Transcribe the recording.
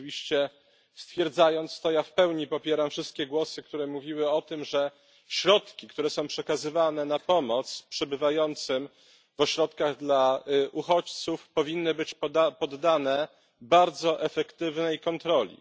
Oczywiście stwierdzając to, ja w pełni popieram wszystkie głosy, które mówiły o tym, że środki, które są przekazywane na pomoc przebywającym w ośrodkach dla uchodźców, powinny być poddane bardzo efektywnej kontroli.